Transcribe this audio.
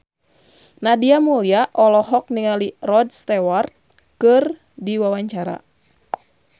Nadia Mulya olohok ningali Rod Stewart keur diwawancara